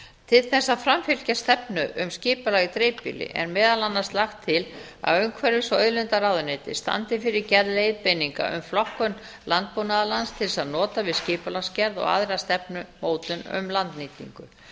til þess að framfylgja stefnu um skipulag í dreifbýli er meðal annars lagt til að umhverfis og auðlindaráðuneytið standi fyrir gerð leiðbeininga um flokkun landbúnaðarlands til þess að nota við skipulagsgerð og aðra stefnumótun um landnýtingu